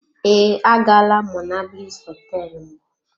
Ee, agaala m monablis hotel mbụ.